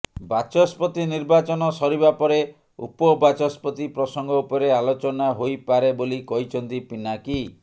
ବାଚସ୍ପତି ନିର୍ବାଚନ ସରିବା ପରେ ଉପବାଚସ୍ପତି ପ୍ରସଙ୍ଗ ଉପରେ ଆଲୋଚନା ହୋଇପାରେ ବୋଲି କହିଛନ୍ତି ପିନାକୀ